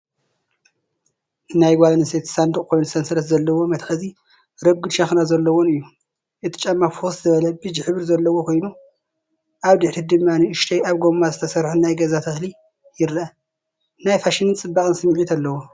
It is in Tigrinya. ናይ ጓል ኣንስተይቲ ሳንዱቕ ኮይኑ ሰንሰለት ዘለዎ መትሓዚን ረጒድ ሸኾና ዘለዎን እዩ። እቲ ጫማ ፍኹስ ዝበለ ቢጅ ሕብሪ ዘለዎ ኮይኑ፡ ኣብ ድሕሪት ድማ ንእሽቶ ኣብ ጎማ ዝተሰርሐ ናይ ገዛ ተኽሊ ይርአ። ናይ ፋሽንን ጽባቐን ስምዒት ኣለዎ።